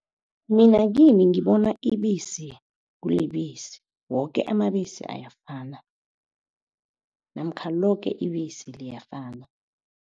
Mina kimi ngibona ibisi kulibisi woke amabisi ayafana namkha loke ibisi liyafana.